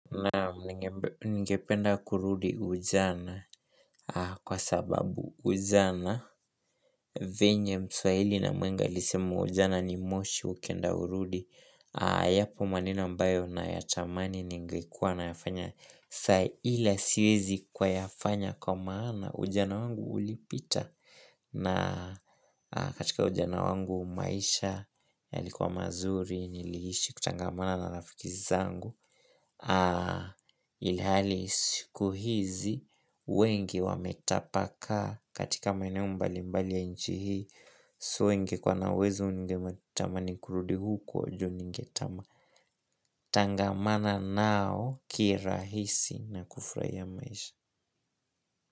Naam ninge ningependa kurudi ujana kwa sababu ujana venye mswahili na mhenga alisema ujana ni moshi ukienda haurudi. Yapo maneno ambayo na yatamani ningekuwa na yafanya sa ila siwezi kwa yafanya kwa maana ujana wangu ulipita. Na katika ujana wangu maisha yalikuwa mazuri niliishi kutangamana na lafiki zangu. Ilhali siku hizi wengi wametapaka katika maeneo mbali mbali ya nchi hii. So ningekuwa na uwezo ningetamani kurudi huko juu ningetama Tangamana nao kirahisi na kufurahia maisha.